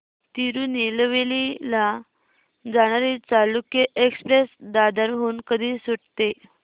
तिरूनेलवेली ला जाणारी चालुक्य एक्सप्रेस दादर हून कधी सुटते